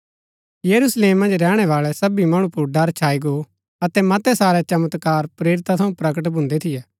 यरूशलेम मन्ज रैहणै बाळै सबी मणु पुर ड़र छाई गो अतै मतै सारै चमत्कार प्रेरिता थऊँ प्रकट भून्दै थियै